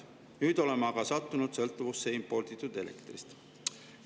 Nüüd oleme aga sattunud sõltuvusse imporditud elektrist.